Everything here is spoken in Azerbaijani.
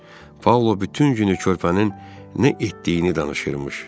Paula bütün günü körpənin nə etdiyini danışırmış.